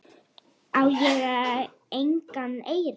Ég á engan eyri.